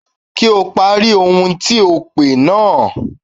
Kí o pari ohun tí ò pè náà.